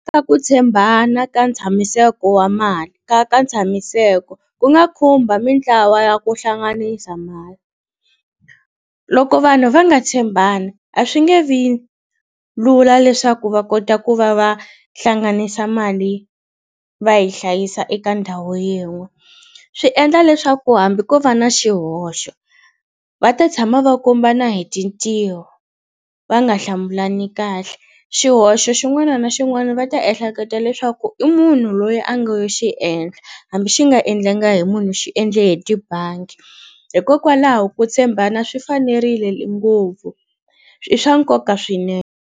Na ku tshembana ka ntshamiseko wa mali ka ka ntshamiseko ku nga khumba mitlawa ya ku hlanganisa mali loko vanhu va nga tshembana a swi nge vi lula leswaku va kota ku va va hlanganisa mali va hi hlayisa eka ndhawu yin'we swi endla leswaku hambi ko va na xihoxo va ta tshama va kombana hi tintiho va nga hlamulani kahle xihoxo xin'wana na xin'wana va ta ehleketa leswaku i munhu loyi a ngo yo xiendla hambi xi nga endlanga hi munhu xi endle tibangi hikokwalaho ku tshembana swi fanerile ngopfu i swa nkoka .